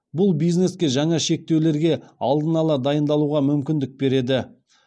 бұл бизнеске жаңа шектеулерге алдын ала дайындалуға мүмкіндік береді